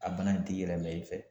A bana in t'i yɛlɛmɛn i fɛ.